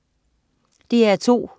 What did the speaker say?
DR2: